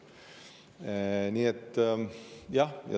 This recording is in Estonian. Nii et jah.